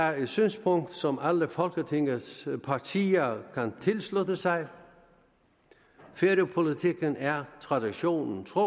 er et synspunkt som alle folketingets partier kan tilslutte sig færøpolitikken er traditionen tro